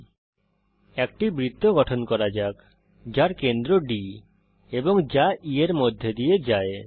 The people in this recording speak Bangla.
এখন কেন্দ্র D এর সঙ্গে একটি বৃত্ত গঠন করা যাক এবং যা E এর মধ্যে দিয়ে যায়